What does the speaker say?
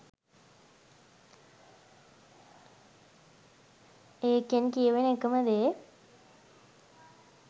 ඒකෙන් කියවෙන එකම දේ